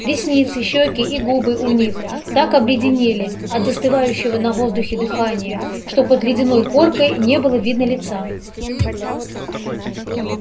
ресницы щеки и губы у них так обледенели от застывающего на воздухе дыхания что под ледяной коркой не было видно лица